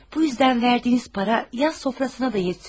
Bu yüzdən verdiniz para yas sofrasına da yetiyor.